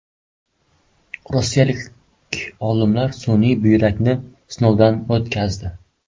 Rossiyalik olimlar sun’iy buyrakni sinovdan o‘tkazdi.